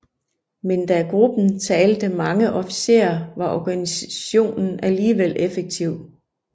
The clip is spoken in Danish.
Men da gruppen talte mange officerer var organiseringen alligevel effektiv